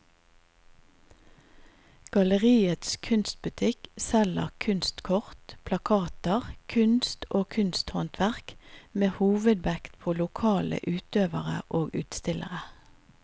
Galleriets kunstbutikk selger kunstkort, plakater, kunst og kunsthåndverk med hovedvekt på lokale utøvere og utstillere.